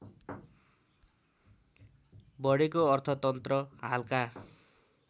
बढेको अर्थतन्त्र हालका